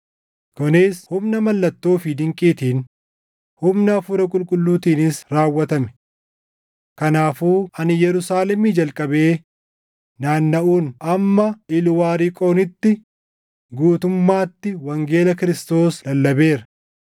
kunis humna mallattoo fi dinqiitiin, humna Hafuura Qulqulluutiinis raawwatame. Kanaafuu ani Yerusaalemii jalqabee naannaʼuun hamma Ilwaariqoonitti guutummaatti wangeela Kiristoos lallabeera.